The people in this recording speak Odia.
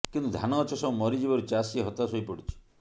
କିନ୍ତୁ ଧାନ ଗଛ ସବୁ ମରିଯିବାରୁ ଚାଷୀ ହତାଶ ହୋଇପଡିଛି